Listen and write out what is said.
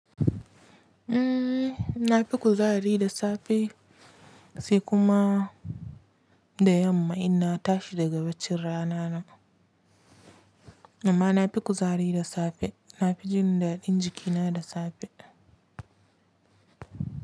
Ehh, na fi kuzari da safe sai kuma da yamma in na tashi daga bacin rana na. Amma na fi kuzari da safe, na fi jin daɗin jikina da safe.